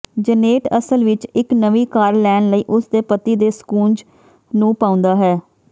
Janet ਅਸਲ ਵਿੱਚ ਇੱਕ ਨਵੀਂ ਕਾਰ ਲੈਣ ਲਈ ਉਸਦੇ ਪਤੀ ਦੇ ਸਕੂਂਜ਼ ਨੂੰ ਪਾਉਂਦਾ ਹੈ